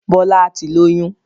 Bọlá tí lóyún